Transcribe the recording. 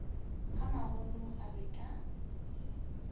a magolo a be a